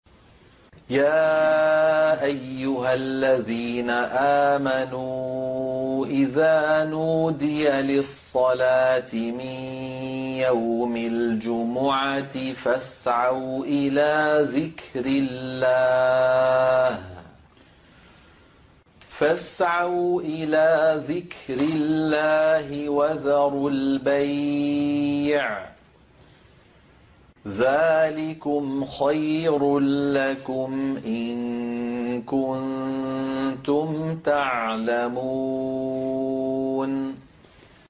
يَا أَيُّهَا الَّذِينَ آمَنُوا إِذَا نُودِيَ لِلصَّلَاةِ مِن يَوْمِ الْجُمُعَةِ فَاسْعَوْا إِلَىٰ ذِكْرِ اللَّهِ وَذَرُوا الْبَيْعَ ۚ ذَٰلِكُمْ خَيْرٌ لَّكُمْ إِن كُنتُمْ تَعْلَمُونَ